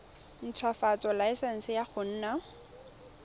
ntshwafatsa laesense ya go nna